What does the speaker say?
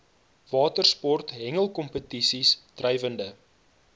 watersport hengelkompetisies drywende